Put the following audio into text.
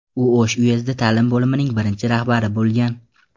U O‘sh uyezdi ta’lim bo‘limining birinchi rahbari bo‘lgan.